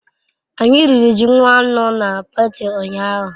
Anyi riri ji nwannu na pati unyahu